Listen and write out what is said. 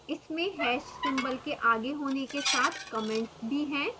इसमें hash symbol के आगे होने के साथ comments भी हैं